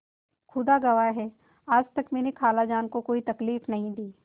खुदा गवाह है आज तक मैंने खालाजान को कोई तकलीफ नहीं दी